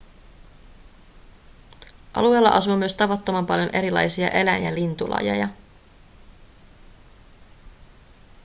alueella asuu myös tavattoman paljon erilaisia eläin- ja lintulajeja